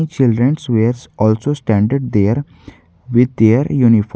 children's wears also standard there with their uniform.